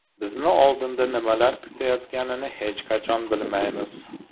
Bizni oldinda nimalar kutayotganini hech qachon bilmaymiz.